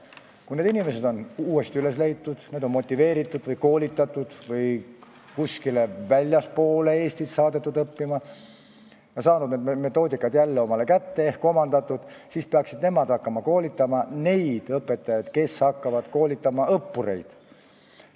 Kui need inimesed on üles leitud, neid on motiveeritud, koolitatud või saadetud väljapoole Eestit õppima, nad on need metoodikad jälle omandanud, siis peaksid nemad hakkama koolitama neid õpetajaid, kes hakkavad koolitama õppureid.